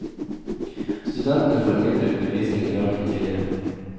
Studentene får mindre undervisning i dag enn tidligere.